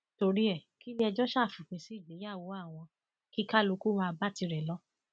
torí ẹ kílẹẹjọ ṣáà fòpin sí ìgbéyàwó àwọn kí kálukú máa bá tirẹ lọ